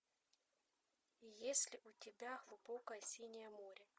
есть ли у тебя глубокое синее море